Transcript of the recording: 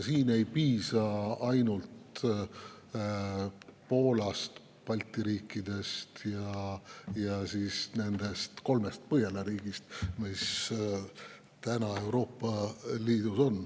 Siin ei piisa ainult Poolast, Balti riikidest ja kolmest Põhjala riigist, mis on praegu Euroopa Liidus.